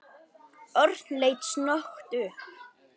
Örn leit snöggt upp.